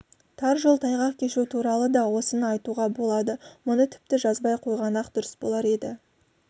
тар жол тайғақ кешу туралы да осыны айтуға болады мұны тіпті жазбай қойғаны-ақ дұрыс болар еді